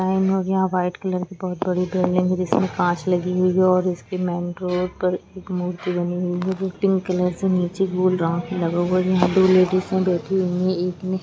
White colour बहोत बड़ कांच लागि हुई हैओर उसके मेन डोर पर एक मूर्ति बनी हुई है जो पिंक कलर से नीचे गोल राउंड लगा हुआ है जहा दो लेडिज बेठी हुई है।